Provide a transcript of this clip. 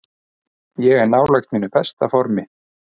Ég er nálægt mínu besta formi.